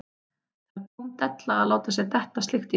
Það er tóm della að láta sér detta slíkt í hug.